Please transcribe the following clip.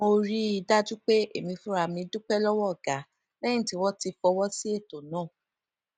mo rí i dájú pé èmi fúnra mi dúpé lówó ọga léyìn tí wón ti fọwó sí eto náà